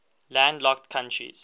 landlocked countries